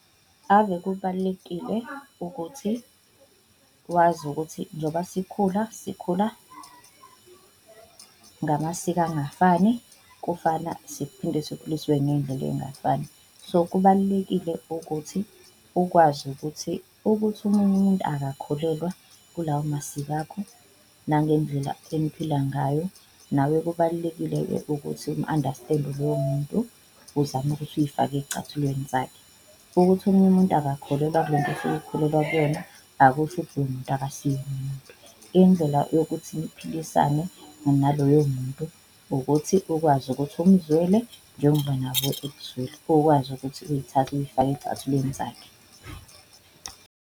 Ave kubalulekile ukuthi wazi ukuthi njoba sikhula sikhula ngamasiko angafani, kufana siphinde sikhuliswe ngey'ndlela ey'ngafani so, kubalulekile ukuthi ukwazi ukuthi, ukuthi omunye umuntu akakholelwa kulawo masiko akho nangendlela eniphila ngayo. Nawe kubalulekile-ke ukuthi umu-understand-e loyo muntu uzame ukuthi uyifake ey'cathulweni zakhe, ukuthi omunye umuntu akakholelwa kulento osuke ukholelwa kuyona akusho ukuthi loyo muntu akasiyena umuntu. Indlela yokuthi niphilisane naloyo muntu ukuthi ukwazi ukuthi umzwele njengoba nabo bekuzwela, ukwazi ukuthi uyithathe uyifake ey'cathulweni zakhe.